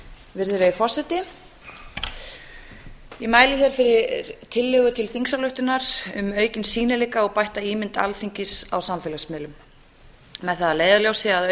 virðulegi forseti ég mæli hér fyrir tillögu til þingsályktunar um aukinn sýnileika og bætta ímynd alþingis á samfélagsmiðlum með það að leiðarljósi að